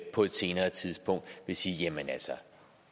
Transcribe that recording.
på et senere tidspunkt vil sige jamen